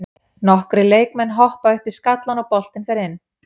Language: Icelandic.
Nokkrir leikmann hoppa upp í skallann og boltinn fer inn.